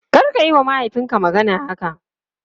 Karka yiwa mahaifinka magana haka!